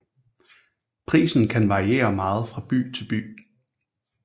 Prisen kan variere meget fra by til by